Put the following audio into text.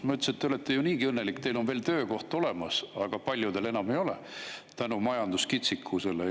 Ma ütlesin, et te olete ju niigi õnnelik, teil on veel töökoht olemas, aga paljudel enam ei ole tänu majanduskitsikusele.